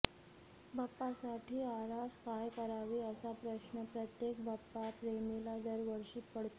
बाप्पासाठी आरास काय करावी असा प्रश्न प्रत्येक बाप्पाप्रेमीला दरवर्षी पडतो